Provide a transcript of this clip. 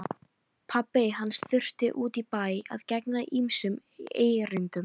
Pabbi hans þurfti út í bæ að gegna ýmsum erindum.